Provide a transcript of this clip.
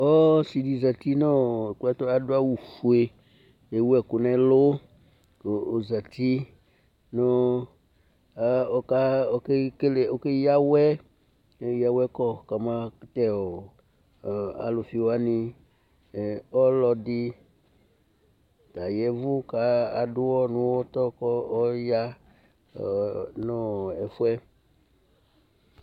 ɔsi dɩ zati kʊ adʊ awufue kʊ ewu ɛkʊ n'ɛlʊ, kʊ ozati kʊ okeyawɛ kɔmatɛ alʊfiwanɩ, ɔlɔdɩ ta y'ɛvʊ kʊ adʊ uwɔ nʊ uwɔtɔ, kʊ ɔya nʊ ɛfʊ yɛ